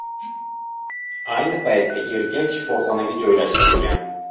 Ayni paytda erkak shifoxonaga joylashtirilgan.